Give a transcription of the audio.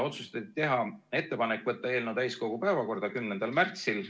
Otsustati teha ettepanek võtta eelnõu täiskogu päevakorda 10. märtsiks.